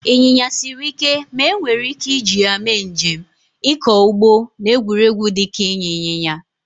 Ịnyịnya siri ike ma enwere ike iji ya mee njem, ịkọ ugbo, na egwuregwu dịka ịnya ịnyịnya.